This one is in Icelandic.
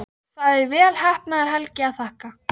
Það er vel heppnaðri helgi að þakka.